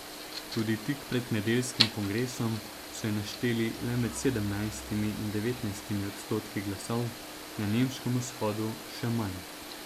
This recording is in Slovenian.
Tudi tik pred nedeljskim kongresom so ji našteli le med sedemnajstimi in devetnajstimi odstotki glasov, na nemškem vzhodu še manj.